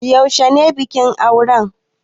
Yaushe ne bikin aure?